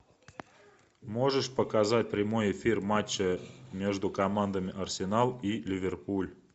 можешь показать прямой эфир матча между командами арсенал и ливерпуль